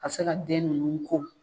A bɛ se ka den nunnu ko